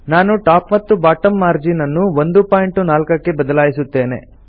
ನಾನು ಟಾಪ್ ಮತ್ತು bottom margin ಅನ್ನು 14ಪಿಟಿ ಕ್ಕೆ ಬದಲಾಯಿಸುತ್ತೇನೆ